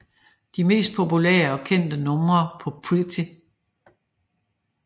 De mest populære og kendte numre på Pretty